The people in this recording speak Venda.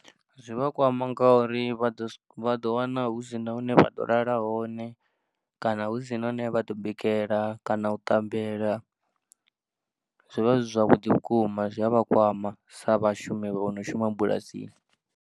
Zwi vha kwama ngauri vha ḓo wana, ḓo wana hu si na hune vha ḓo lala hone kana hu si na hune vha ḓo bikela kana u ṱambela zwi vha zwi zwavhuḓi vhukuma zwi a vha kwama sa vhashumi vho no shuma bulasini.